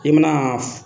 I mana